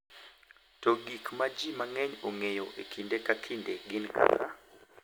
To gik ma ji mang’eny ong’eyo kinde ka kinde gin kaka,